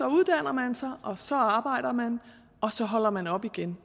uddanner man sig og så arbejder man og så holder man op igen